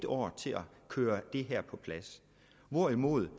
år til at køre det her på plads hvorimod